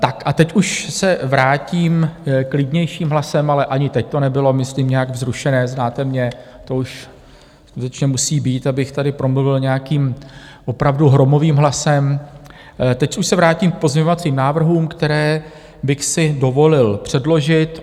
Tak a teď už se vrátím klidnějším hlasem - ale ani teď to nebylo myslím nějak vzrušené, znáte mě, to už skutečně musí být, abych tady promluvil nějakým opravdu hromovým hlasem - teď už se vrátím k pozměňovacím návrhům, které bych si dovolil předložit.